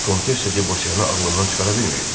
Vikontessa Debosiyanı ağlından çıxara bilmirdi.